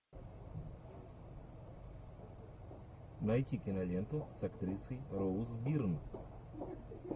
найти киноленту с актрисой роуз бирн